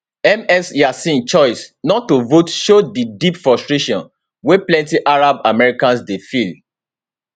ms yassin choice not to vote show di deep frustration wey plenti arab americans dey feel